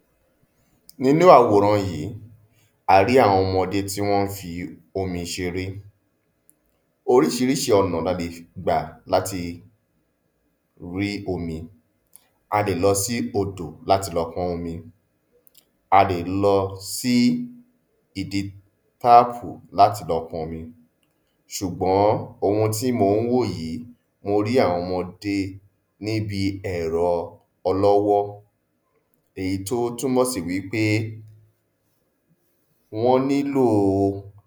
﻿Nínú àwòran yí, a rí àwọn ọmọdé tí wọ́n n fi omi ṣeré, orísirísi ọ̀nà la lè gbà láti rí omi, a lè lọ sí odò láti lọ pọn omi, a lè lọ sí ibi táàpù láti lọ pọn omi, sùgbọ́n ohun tí mò n wò yí, mo rí àwọn ọmọdé níbi ẹ̀rọ ọlọ́wọ́, èyí tí ó túnmọ̀ sí wípé wọ́n nílò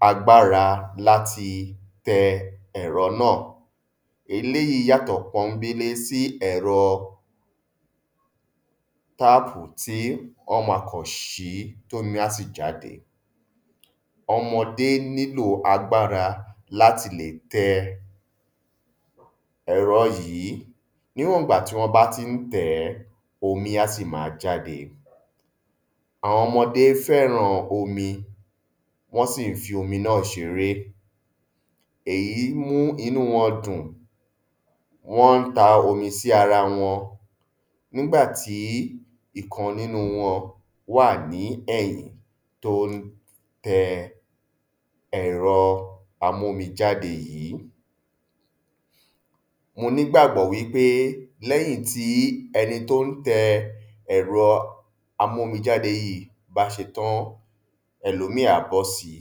agbára láti tẹ ẹ̀rọ náà, eléyí yàtọ̀ sí ẹ̀rọ táàpù tí wọ́n ma kàn ṣí tómi á sì jáde. ọmọdé nílò agbára láti lè tẹ ẹ̀rọ yí níwọn gbà tí wọ́n bá tí n tẹ̀ omi á sì ma jáde. Àwọn ọmọdé fẹ́ràn omi, wọ́n sì fí omi náà ṣeré, èyí mú inú wọn dùn wón n ta omi sí arawọn nígbà tí ìkan nínu wọn wà ní ẹ̀yìn tó n tẹ ẹ̀rọ amómijáde yí. Mo nígbàgbọ́ wípé lẹ́yìn tí ẹni tí ó n tẹ ẹ̀rọ amọ́mijáde yí bá ṣẹtán, ẹlòmí á bósi.